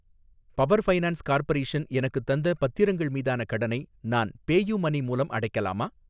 Power finance corporation எனக்குத் தந்த பத்திரங்கள் மீதான கடனை நான் பேயூமனி மூலம் அடைக்கலாமா?